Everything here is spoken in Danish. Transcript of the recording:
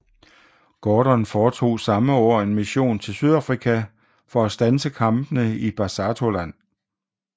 Gordon foretog samme år en mission til Sydafrika for at standse kampene i Basutoland